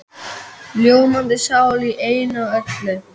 Ljómandi sál í einu og öllu.